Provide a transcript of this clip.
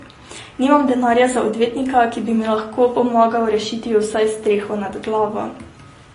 Nimam denarja za odvetnika, ki bi mi lahko pomagal rešiti vsaj streho nad glavo.